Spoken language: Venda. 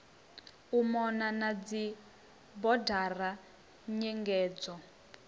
u mona na dzibodara nyengedzo